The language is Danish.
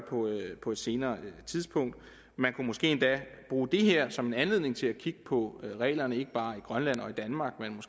på et senere tidspunkt man kunne måske endda bruge det her som en anledning til at kigge på reglerne ikke bare i grønland og i danmark